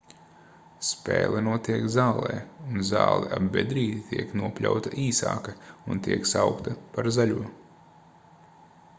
spēle notiek zālē un zāle ap bedrīti tiek nopļauta īsāka un tiek saukta par zaļo